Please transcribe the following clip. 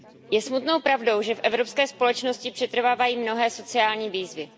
Je smutnou pravdou, že v evropské společnosti přetrvávají mnohé sociální výzvy.